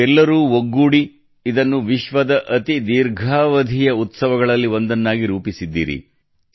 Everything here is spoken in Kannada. ನೀವೆಲ್ಲರೂ ಒಗ್ಗೂಡಿ ಇದನ್ನು ವಿಶ್ವದ ಅತಿ ದೀರ್ಘಾವಧಿಯ ಉತ್ಸವಗಳಲ್ಲಿ ಒಂದನ್ನಾಗಿ ರೂಪಿಸಿದ್ದೀರಿ